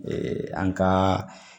an ka